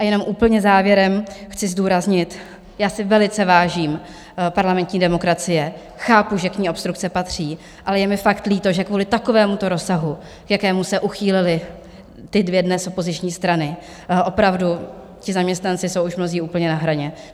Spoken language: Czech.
A jenom úplně závěrem chci zdůraznit, já si velice vážím parlamentní demokracie, chápu, že k ní obstrukce patří, ale je mi fakt líto, že kvůli takovémuto rozsahu, k jakému se uchýlily ty dvě dnes opoziční strany, opravdu ti zaměstnanci jsou už mnozí úplně na hraně.